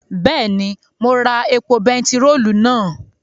Bẹ́ẹ̀ni, mo ra epo bentiróòlù náà